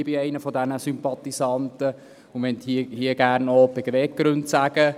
Ich bin einer dieser Sympathisanten und möchte hier gerne noch die Beweggründe aufzeigen.